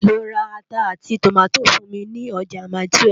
Lò rá àtá áti tómátó fún mi lòjá máitúèf